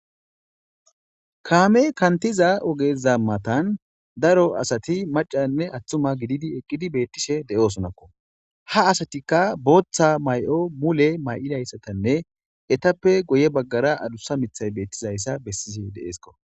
kaame kantiza ogeza matan daro asati macanne atthuma gididi eqqidi beettishe de7oosonakko ha asatikka booththa may7o mule may7ilayssatanne etappe goye baggara adussa mithay beettizayssa bessishe de7eesko